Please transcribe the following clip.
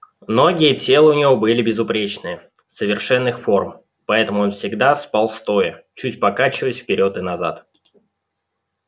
ноги и тело у него были безупречные совершенных форм поэтому он всегда спал стоя чуть покачиваясь вперёд и назад